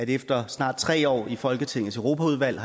efter snart tre år i folketingets europaudvalg